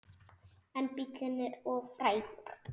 En bíllinn er of frægur.